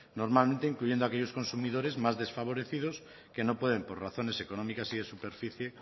normalmente incluyendo a aquellos consumidores más desfavorecidos que no pueden por razones económicas y de superficie